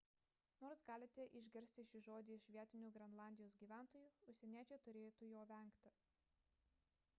nors galite išgirsti šį žodį iš vietinių grenlandijos gyventojų užsieniečiai turėtų jo vengti